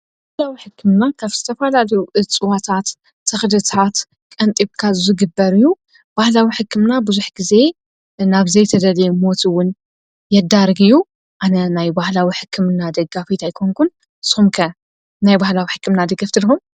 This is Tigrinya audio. ባህላዊ ሕክምና ካብ ዝተፈላለዩ እፅዋታት ተኽልታት ቀንጢብካ ዝግበር እዩ። ባህላዊ ሕክምና ብዙሕ ግዘ ናብ ዘይተደለየ ሞት እዉን የዳርግ እዩ ።ኣነ ናይ ባህላዊ ሕክምና ደጋፊት ኣይኮንኩን ንስኩም ከ ባህላዊ ሕክምና ደገፍቲ ዲኩም ?